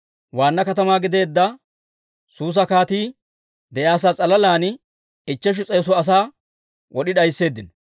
Waanna katamaa gideedda Suusa kaatii de'iyaasaa s'alalan ichcheshu s'eetu asaa wod'i d'aysseeddino.